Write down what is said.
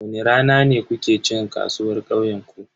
Wani rana ne kuke cin kasuwar kauyenku?